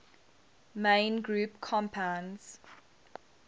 main group compounds